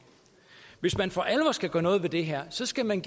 hvis man for alvor skal gøre noget ved det her skal man